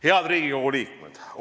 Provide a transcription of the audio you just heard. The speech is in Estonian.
Head Riigikogu liikmed!